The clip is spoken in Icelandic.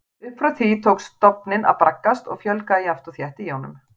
Upp frá því tók stofninn að braggast og fjölgaði jafnt og þétt í honum.